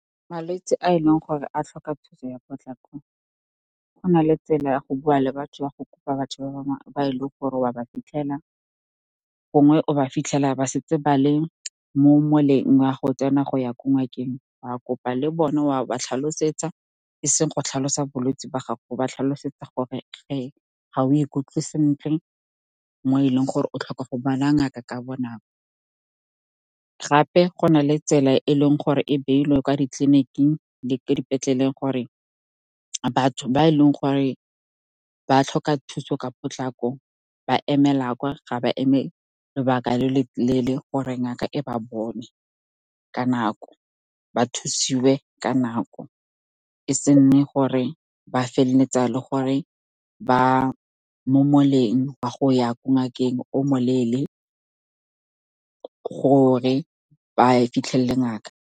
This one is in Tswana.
Malwetse a e leng gore a tlhoka thuso ya potlako, go na le tsela ya go bua le batho, ya go kopa batho ba e leng gore wa ba fitlhela, gongwe o ba fitlhela ba setse ba le mo moleng wa go tsena go ya ko ngakeng. Wa kopa le bone, wa ba tlhalosetsa, e seng go tlhalosa bolwetse ba gago, go ba tlhalosetsa gore ga o ikutlwe sentle mo e leng gore o tlhoka go bona ngaka ka bonako. Gape, go na le tsela e e leng gore e beilweng kwa ditleliniking le ko dipetleleng, gore batho ba e leng gore ba tlhoka thuso ka potlako ba emela kwa, ga ba eme lobaka le le leele gore ngaka e ba bone ka nako, ba thusiwe ka nako. E se nne gore ba feleletsa le gore ba mo moleng wa go ya ko ngakeng o mo leele, gore ba fitlhelele ngaka.